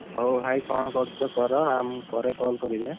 ହଉ ଭାଇ କଣ କରୁଛ କର ଆଉ ମୁଁ ପରେ call କରିବି ଏଁ?